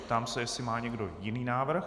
Ptám se, jestli má někdo jiný návrh.